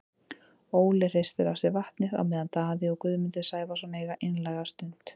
Óli hristir af sér vatnið á meðan Daði og Guðmundur Sævarsson eiga einlæga stund.